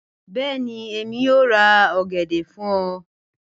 Bẹẹni, Emi yoo ra ogede fun ọ.